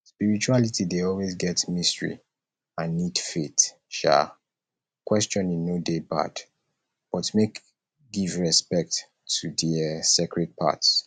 spirituality dey always get mystery and need faith um questioning no dey bad but make give respect to di um sacred parts